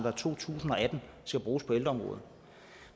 tusind og atten skal bruges på ældreområdet